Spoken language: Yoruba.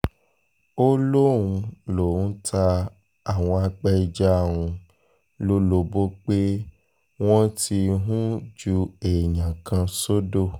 ó lóun lóun ta àwọn apẹja um lólobó pé wọ́n ti um ju èèyàn kan sódò